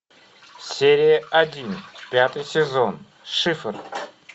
серия один пятый сезон шифр